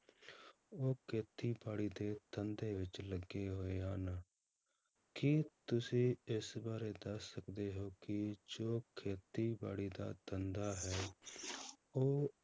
ਉਹ ਖੇਤੀਬਾੜੀ ਦੇ ਧੰਦੇ ਵਿੱਚ ਲੱਗੇ ਹੋਏ ਹਨ, ਕੀ ਤੁਸੀਂ ਇਸ ਬਾਰੇ ਦੱਸ ਸਕਦੇ ਹੋ ਕਿ ਜੋ ਖੇਤੀਬਾੜੀ ਦਾ ਧੰਦਾ ਹੈ ਉਹ